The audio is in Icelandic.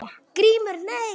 GRÍMUR: Nei?